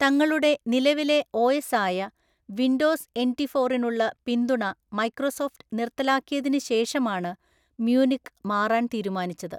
തങ്ങളുടെ നിലവിലെ ഒഎസ് ആയ വിൻഡോസ് എന്റി ഫോറിനുള്ള പിന്തുണ മൈക്രോസോഫ്റ്റ് നിർത്തലാക്കിയതിന് ശേഷമാണ് മ്യൂനിക്ക് മാറാൻ തീരുമാനിച്ചത്.